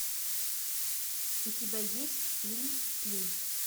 у тебя есть фильм кин